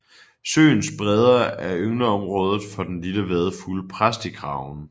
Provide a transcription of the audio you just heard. Søens bredder er yngleområdet for den lille vadefugl præstekraven